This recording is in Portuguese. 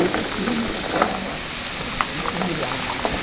Esse filme era uma, um similar, sabe?